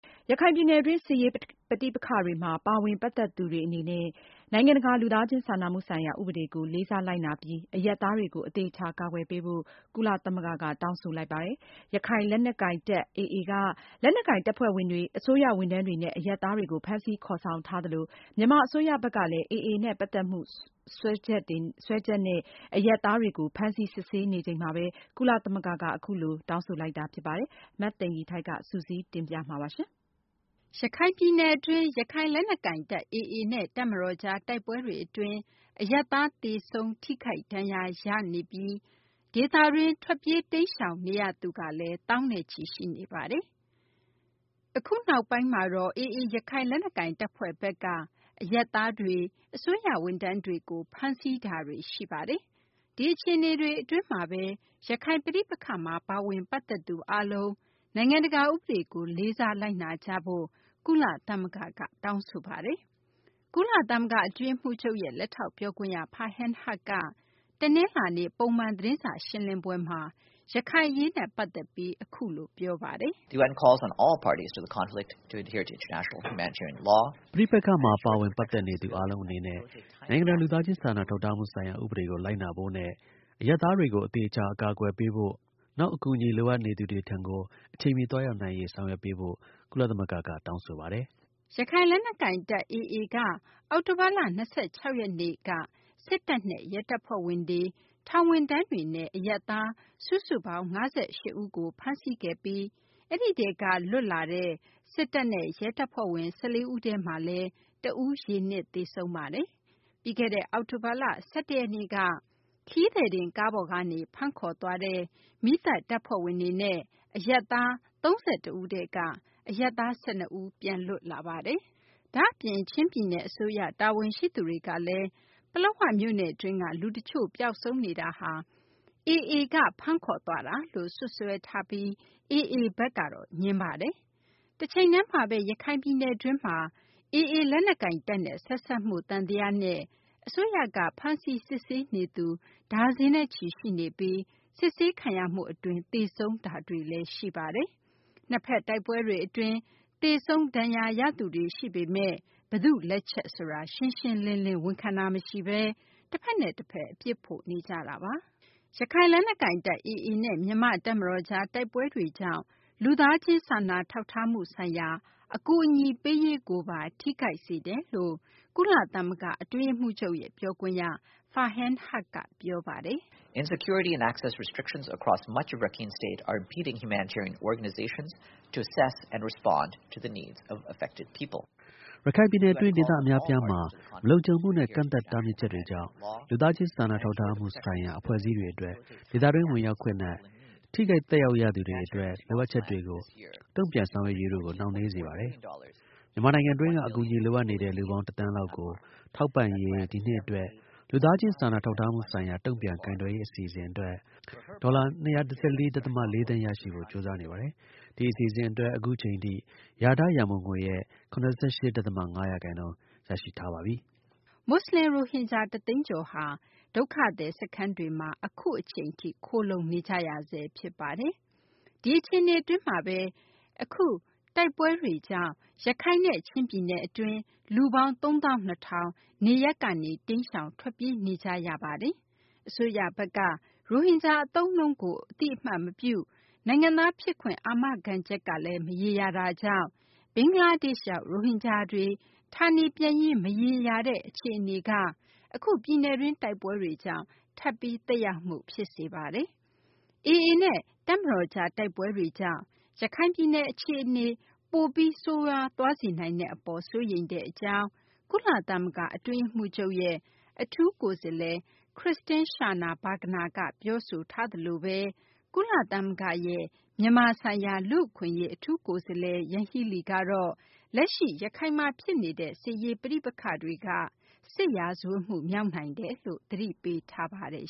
ရခိုင်ပြည်နယ်တွင်း စစ်ရေး ပဋိပက္ခတွေမှာ ပါဝင် ပတ်သက်သူတွေ အနေနဲ့ နိုင်ငံတကာ လူသားချင်း စာနာမှုဆိုင်ရာ ဥပဒေကို လေးစားလိုက်နာပြီး အရပ်သားတွေကို အသေအချာ ကာကွယ်ပေးဖို့ ကုလသမဂ္ဂက တောင်းဆိုလိုက်ပါတယ်။ ရခိုင်လက်နက်ကိုင်တပ် AA က လက်နက်ကိုင်တပ်ဖွဲ့ဝင်တွေ၊ အစိုးရ ဝန်ထမ်းတွေနဲ့ အရပ်သားတွေကို ဖမ်းဆီးခေါ်ဆောင်ထားသလို မြန်မာ အစိုးရဘက်ကလည်း AA နဲ့ ပတ်သက်မှု စွဲချက်နဲ့ အရပ်သားတွေကို ဖမ်းဆီး စစ်ဆေးနေချိန်မှာဘဲ ကုလသမဂ္ဂက အခုလို တောင်းဆိုလိုက်တာ ဖြစ်ပါတယ်။ မသိင်္ဂ ီထိုက် စုစည်းတင်ပြထားပါတယ်။ ရခိုင်ပြည်နယ်တွင်း ရခိုင်လက်နက်ကိုင်တပ် AA နဲ့ တပ်မတော်ကြား တိုက်ပွဲတွေ အတွင်း အရပ်သား သေဆုံး ထိခိုက်ဒဏ်ရာရနေပြီး ဒေသတွင်း ထွက်ပြေး တိမ်းရှောင်နေရသူကလည်း သောင်းနဲ့ချီ ရှိနေပါတယ်။ အခု နောက်ပိုင်းမှာတော့ AA ရခိုင် လက်နက်ကိုင်တပ်ဖွဲ့ဘက်က အရပ်သားတွေ၊ အစိုးရ ဝန်ထမ်းတွေကို ဖမ်းဆီး ခေါ်ဆောင်မှုတွေ ရှိနေပါတယ်။ ဒီအခြေအနေတွေ အတွင်းမှာဘဲ ရခိုင် ပဋိပက္ခမှာ ပါဝင်ပတ်သက်သူ အားလုံး နိုင်ငံတကာ ဥပဒေကို လိုက်နာကြဖို့ ကုလသမဂ္ဂက တောင်းဆိုလိုက်ပါတယ်။ ကုလသမဂ္ဂ အတွင်းရေးမှူးချုပ်ရဲ့ လက်ထောက် ပြောခွင့်ရ Farhan Haq က တနလာၤနေ့ ပုံမှန် သတင်းစာ ရှင်းလင်းပွဲမှာ ရခိုင်အရေးနဲ့ ပတ်သက်ပြီး အခုလို ပြောပါတယ်။ “ ပဋိပက္ခမှာ ပတ်သက်နေသူ အားလုံး အနေနဲ့ နိုင်ငံတကာ လူသားချင်း စာနာထောက်ထားမှု ဆိုင်ရာ ဥပဒေကို လိုက်နာဖို့နဲ့ အရပ်သားတွေကို အသေအချာ အကာအကွယ်ပေးဖို့၊ နောက် အကူအညီ လိုအပ်နေသူတွေထံကို အချိန်မီ သွားရောက်နိုင်ရေး ဆောင်ရွက်ပေးဖို့ ကုလသမဂ္ဂက တောင်းဆိုပါတယ်။” ရခိုင် လက်နက်ကိုင်တပ် AA က အောက်တိုဘာလ ၂၆ ရက်နေ့က စစ်တပ်နဲ့ ရဲတပ်ဖွဲ့ဝင်တွေ၊ ထောင်ဝန်ထမ်းတွေနဲ့ အရပ်သား စုစုပေါင်း ၅၈ ဦးကို ဖမ်းဆီးခဲ့ပြီး အဲဒီထဲက လွတ်မြောက်လာတဲ့ စစ်တပ်နဲ့ ရဲတပ်ဖွဲ့ဝင် ၁၄ ဦးထဲမှာလည်း တဦးက ရေနစ် သေဆုံးခဲ့ပါတယ်။ ပြီးခဲ့တဲ့ အောက်တိုဘာလ ၁၁ ရက်နေ့က ခရီးသည်တင် ကားပေါ်ကနေ ဖမ်းခေါ်သွားတဲ့ မီးသတ်တပ်ဖွဲ့ဝင်တွေနဲ့ အရပ်သား ၃၁ ဦးထဲက အရပ်သား ၁၂ ဦး ပြန်လွတ်လာပါတယ်။ ဒါ့အပြင် ချင်းပြည်နယ် အစိုးရ တာဝန်ရှိသူတွေ ကလည်း ပလက်ဝမြို့နယ်တွင်းက လူတချို့ ပျောက်ဆုံးနေတာဟာ AA က ဖမ်းခေါ်သွားတာလို့ စွပ်စွဲထားပြီး AA ဘက်ကတော့ ငြင်းဆိုထားပါတယ်။ တချိန်တည်းမှာဘဲ ရခိုင်ပြည်နယ်တွင်းမှာ AA လက်နက်ကိုင်တပ်နဲ့ ဆက်စပ်မှု သံသယနဲ့ အစိုးရက ဖမ်းဆီး စစ်ဆေးနေသူတွေ ဒါဇင်နဲ့ချီ ရှိနေပြီး စစ်ဆေးခံရမှုအတွင်း သေဆုံးခဲ့တာတွေလည်း ရှိပါတယ်။ နှစ်ဘက် တိုက်ပွဲတွေ အတွင်း သေဆုံး ဒဏ်ရာရသူတွေ ရှိနေပေမယ့် ဘယ်သူ့လက်ချက် ဆိုတာ ရှင်းရှင်းလင်းလင်း ဝန်ခံတာ မရှိဘဲ တဖက်နဲ့ တဖက် အပြစ်ဖို့ နေကြတာပါ။ ရခိုင်လက်နက်ကိုင်တပ် AA နဲ့ မြန်မာ့ တပ်မတော်ကြား တိုက်ပွဲတွေကြောင့် လူသားချင်း စာနာထောက်ထားမှု ဆိုင်ရာ အကူအညီပေးရေးကိုပါ ထိခိုက်စေတယ်လို့လည်း ကုလသမဂ္ဂ အတွင်းရေးမှူးချုပ်ရဲ့ ပြောခွင့်ရ Farhan Haq က ပြောပါတယ်။ “ ရခိုင်ပြည်နယ်တွင်း ဒေသ အများအပြားမှာ မလုံခြုံမှုနဲ့ ကန့်သတ် တားမြစ်ချက်တွေကြောင့် လူသားချင်း စာနာထောက်ကူမှု ဆိုင်ရာ အဖွဲ့အစည်းတွေ အတွက် ဒေသတွင်း ဝင်ရောက်ခွင့်နဲ့ ထိခိုက် သက်ရောက်ရသူတွေရဲ့ လိုအပ်ချက်တွေကို တုံ့ပြန်ဆောင်ရွက်ရေးတို့ကို နှောင့်နှေးစေပါတယ်။ မြန်မာနိုင်ငံတွင်းက အကူအညီ လိုအပ်နေတဲ့ လူပေါင်း ၁ သန်းလောက်ကို ထောက်ပံ့ရေး ဒီနှစ် အတွက် လူသားချင်း စာနာထောက်ထားမှုဆိုင်ရာ တုံ့ပြန်ကိုင်တွယ်ရေး အစီအစဉ် အတွက် ဒေါ်လာ ၂၁၄ ဒသမ ၄ သန်း ရရှိဖို့ ကြိုးစားနေပါတယ်။ ဒီအစီအစဉ် အတွက် အခုအချိန်ထိ လျာထား ရန်ပုံငွေရဲ့ ၇၈ ဒသမ ၅ ရာခိုင်နှုန်း ရရှိထားပါပြီ။ ” မူဆလင် ရိုဟင်ဂျာ ၁ သိန်းကျော်ဟာ ဒုက္ခသည် စခန်းတွေမှာ အခုအချိန်ထိ ခိုလှုံနေကြရဆဲ ဖြစ်ပါတယ်။ ဒီအခြေအနေ အတွင်းမှာဘဲ အခု ရခိုင်လက်နက်ကိုင်တပ် AA နဲ့ မြန်မာ စစ်တပ်ကြား တိုက်ပွဲတွေကြောင့် ရခိုင်နဲ့ ချင်းပြည်နယ် အတွင်းမှာ လူပေါင်း ၃၂၀၀၀ နေရပ်ကနေ တိမ်းရှောင် ထွက်ပြေးနေကြရတာ ဖြစ်ပါတယ်။ အစိုးရဘက်က ရိုဟင်ဂျာ အသုံးအနှုန်းကို အသိအမှတ် မပြု၊ နိုင်ငံသား ဖြစ်ခွင့် အာမခံချက်ကလည်း မရေရာတာကြောင့် ဘင်္ဂလားဒေရှ့်ရောက် ရိုဟင်ဂျာတွေ ဌာနေပြန်ရေး မရေရာတဲ့ အခြေအနေမှာ အခု ပြည်နယ်တွင်း တိုက်ပွဲတွေကြောင့် ထပ်ပြီးသက်ရောက်မှု ဖြစ်စေပါတယ်။ AA နဲ့ တပ်မတော်ကြား တိုက်ပွဲတွေကြောင့် ရခိုင်ပြည်နယ် အခြေအနေ ပိုပြီး ဆိုးရွားသွားစေနိုင်တဲ့ အပေါ် စိုးရိမ်ကြောင်း ကုလသမဂ္ဂ အတွင်းရေးမှူးချုပ်ရဲ့ အထူးကိုယ်စားလှယ် Christine Schraner Burgener က ပြောဆိုထားသလိုဘဲ ကုလသမဂ္ဂရဲ့ မြန်မာဆိုင်ရာ လူ့အခွင့်အရေး အထူးကိုယ်စားလှယ် ယန်ဟီးလီကတော့ လက်ရှိ ရခိုင်မှာ ဖြစ်နေတဲ့ စစ်ရေး ပဋိပက္ခတွေက စစ်ရာဇဝတ်မှု မြောက်နိုင်တယ်လို့ သတိပေးထားပါတယ်